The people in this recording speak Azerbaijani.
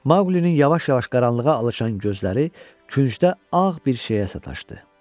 Maqlinin yavaş-yavaş qaranlığa alışan gözləri küncdə ağ bir şeyə sataşdı.